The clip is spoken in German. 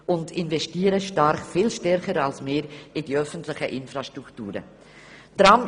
Sie investieren viel stärker als wir in die öffentlichen Infrastrukturen.